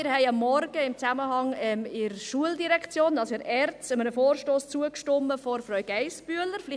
Wir haben heute Morgen, in Zusammenhang mit der Schuldirektion, also der ERZ, einem Vorstoss von Grossrätin Geissbühler zugestimmt.